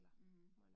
Mh